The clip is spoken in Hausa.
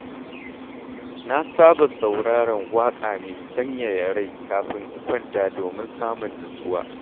Na saba sauraron waƙa mai sanyaya rai kafin in kwanta domin samun nutsuwa.